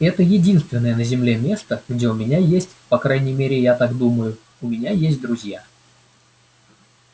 это единственное на земле место где у меня есть по крайней мере я так думаю у меня есть друзья